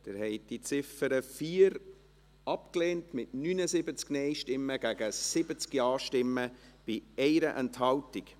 Sie haben die Ziffer 4 abgelehnt mit 79 Nein- gegen 70 Ja-Stimmen bei 1 Enthaltung.